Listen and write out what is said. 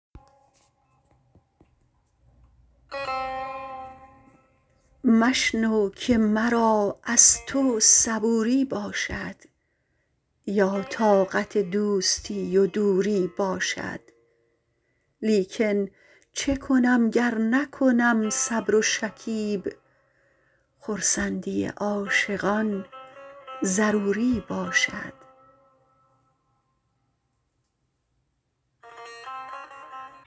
مشنو که مرا از تو صبوری باشد یا طاقت دوستی و دوری باشد لیکن چه کنم گر نکنم صبر و شکیب خرسندی عاشقان ضروری باشد